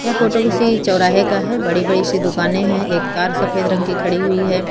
यह फोटो किसी चौराहे का है बड़ी बड़ी सी दुकाने हैं एक कार सफेद रंग की खड़ी हुई है।